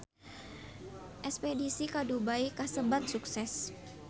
Espedisi ka Dubai kasebat sukses